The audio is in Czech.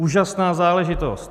Úžasná záležitost.